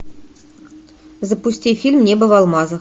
запусти фильм небо в алмазах